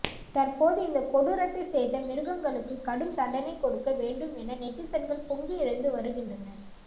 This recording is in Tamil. தற்போது இந்த கொடூரத்தை செய்த மிருகங்களுக்கு கடும் தண்டனை கொடுக்க வேண்டும் என நெட்டிசன்கள் பொங்கி எழுந்து வருகின்றனர்